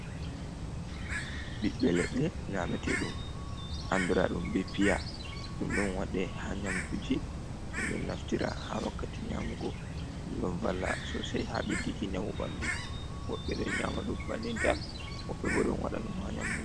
Ɓibɓe ledɗe nyamete ɗum andra ɗum be Piya. ɗum ɗon waɗeha Nyamduji ,ɗum ɗon naftira ha wakkati Nyamugo. ɗum ɗon valla Sosai ha Beddiki njamu ɓandu. wobɓe ɗon Nyama ɗum bannin tan, wobbe bo ɗon waɗa ɗum ha Nyamdu.